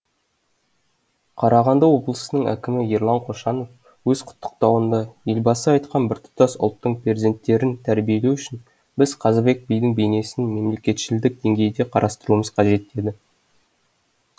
қарағанды облысының әкімі ерлан қошанов өз құттықтауында елбасы айтқан біртұтас ұлттың перзенттерін тәрбиелеу үшін біз қазыбек бидің бейнесін мемлекетшілдік деңгейде қарастыруымыз қажет деді